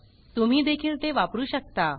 तुम्ही देखील ते वापरु शकता